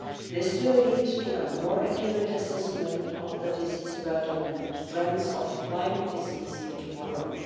This will lead to a more accurate assessment of the disease burden and trends of Lyme disease in Europe.